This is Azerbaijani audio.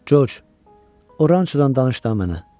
Corc, oranço danış da mənə.